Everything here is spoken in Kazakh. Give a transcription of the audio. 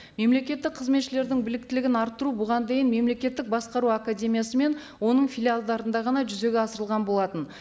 мемлекеттік қызметшілердің біоіктілігін арттыру бұған дейін мемлекеттік басқару академиясы мен оның филиалдарында ғана жүзеге асырылған болатын